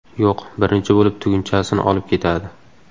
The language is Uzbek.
Yo‘q, birinchi bo‘lib, tugunchasini olib ketadi.